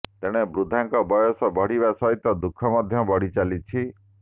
ତେଣେ ବୃଦ୍ଧାଙ୍କ ବୟସ ବଢିବା ସହିତ ଦୁଃଖ ମଧ୍ୟ ବଢି ଚାଲିଛି